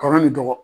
Kɔrɔ ni dɔgɔ